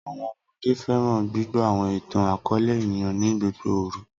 Awọn ọmọde fẹran gbigbọ awọn itan-akọọlẹ eniyan ni gbogbo oru.